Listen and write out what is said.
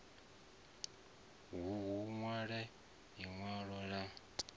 hu u nwaliwe linwalo la